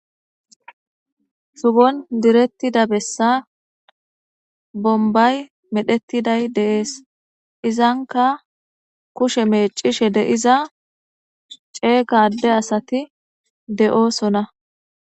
Sugon direttida bessa bombay medhetiday deees izanka kushe meecishe deiza ceegadde asati de'oosona.